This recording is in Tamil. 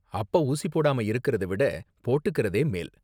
அப்ப ஊசி போடாம இருக்கிறத விட போட்டுக்கறதே மேல்.